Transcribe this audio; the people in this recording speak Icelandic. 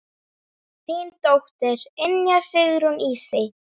Þín dóttir, Ynja Sigrún Ísey.